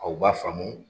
Aw b'a faamu